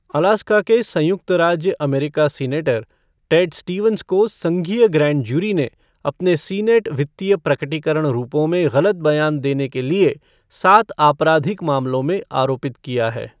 Alaska के संयुक्त राज्य अमेरिका सीनेटर टेड स्टीवंस को संघीय ग्रैंड जूरी ने अपने सीनेट वित्तीय प्रकटीकरण रूपों में गलत बयान देने के लिए सात आपराधिक मामलों में आरोपित किया है।